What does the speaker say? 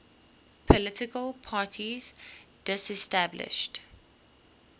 political parties disestablished